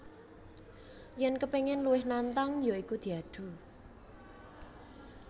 Yèn kepingin luwih nantang ya iku diadu